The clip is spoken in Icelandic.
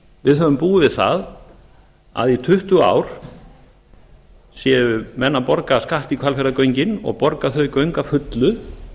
við höfum búið við það að í tuttugu ár séu menn að borga af skatti í hvalfjarðargöngin og borga þau göng að fullu